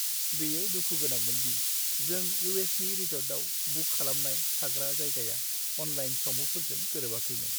बेयो दुखु गोनांमोन दि जों इउ.एस.नि रिसर्टआव बुक खालामनाय थाग्रा जायगाया अनलाइन सावमुफोरजों गोरोबाखैमोन।